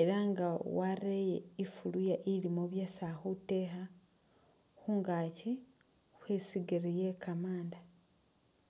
ela nga wareye ifuluya ilimo byesi ali khutekha khungaki khwe isigili iye kamanda.